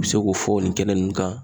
U bɛ se k'o fɔ nin kɛnɛ nunnu kan.